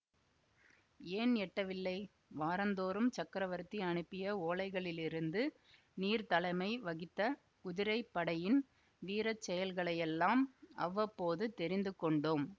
ஏன் எட்டவில்லை வாரந்தோறும் சக்கரவர்த்தி அனுப்பிய ஓலைகளிலிருந்து நீர் தலைமை வகித்த குதிரை படையின் வீர செயல்களையெல்லாம் அவ்வப்போது தெரிந்து கொண்டோம்